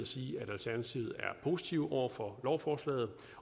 sige at alternativet er positive over for lovforslaget